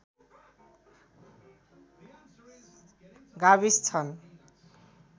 गाविस छन्